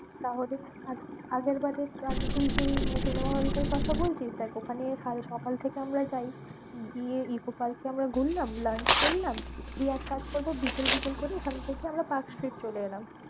তাহলে আর আগের বারে তুই যেই cinema hall টার বলছিস, দেখ ওখানে সারা সকাল থেকে আমরা যাই। গিয়ে ইকো পার্কে আমরা ঘুরলাম, lunch করলাম, দিয়ে এক কাজ করবো বিকেল বিকেল করে ওখান থেকে আমরা পার্কস্ট্রিট চলে এলাম।